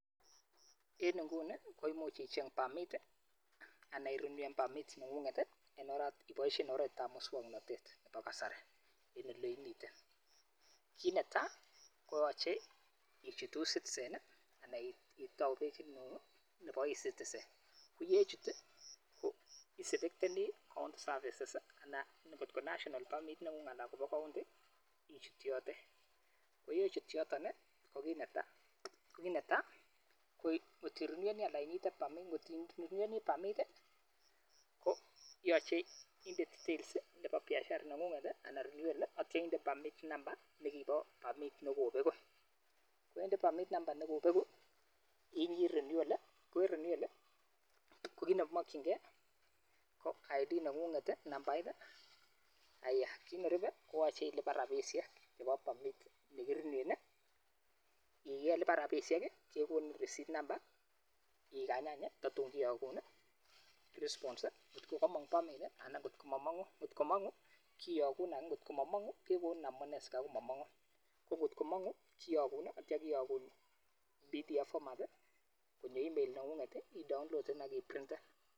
En inyuni koimuch icheng permit anan irenewen permit neny'ung'et iboishen oret ab muswong'notet nebo kasari en oleimiten, kit netai koyoche ichut e-citisen anan itou pagit nenyung nepo e-citisen, ko yechut ko iselecteni on services ana ng'ot national permit nenyung anan ko bo county ichut yotet, ko yechut yotet kokit netai ko ng'ot ireneweni permit ko yoche inde details nepo biashara nenyunget anan renewal ak kitye inde permit number nekibo permit negobegu ko yende permit number negobegu i inyit renewal.ko en renewal ko kit nekimokyingen ko ID nengunget i nambait, aya kit nerube ko yoche ilipan rabishiek nepo permit negireneweni, yelipan rabishit ke gonit receipt number igany any kototung kekonin response ko kokomong permit anan ng'ot komomong'u, ng'ot mongu kiyogun anan ng'ot momong kekonin amune sikaikomomong'u ko ngot ko mong'u kiyogun ak kityo kiyogun pdf format konyo email nengunget i idownloaden ak iprinten.